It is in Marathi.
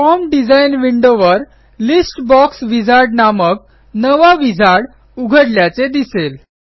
फॉर्म डिझाइन विंडोवर लिस्ट बॉक्स विझार्ड नामक नवा विझार्ड उघडल्याचे दिसेल